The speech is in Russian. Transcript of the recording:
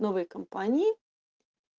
новые компании